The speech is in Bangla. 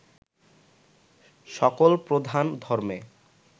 সকল প্রধান ধর্মে